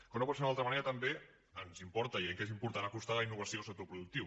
com no pot ser d’una altra manera també ens importa i creiem que és important acostar la innovació al sector productiu